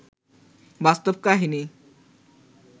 বাস্তব কাহিনী